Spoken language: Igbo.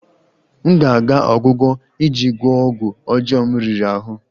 M ga-aga ọgwụgwọ iji gwọọ ọgwụ ọjọọ m riri ahụ